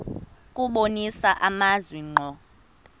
kubonisa amazwi ngqo